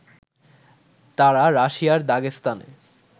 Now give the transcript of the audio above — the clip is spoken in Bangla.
তারা রাশিয়ার দাগেস্তানে